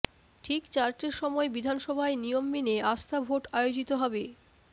ঠিক চারটের সময় বিধানসভার নিয়ম মেনে আস্থা ভোট আয়োজিত হবে